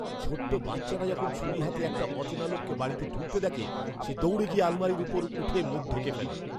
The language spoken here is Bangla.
ছোট বাচ্চাটা যখন ছুরি হাতে একটা অচেনা লোককে বাড়িতে ঢুকতে দেখে, সে দৌড়ে গিয়ে আলমারির উপর উঠে মুখ ঢেকে ফেলে।